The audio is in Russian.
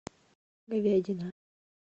говядина